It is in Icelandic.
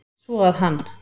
Svo að hann.